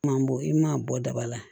Kuma bɔ i man bɔ daba la